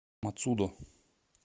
мацудо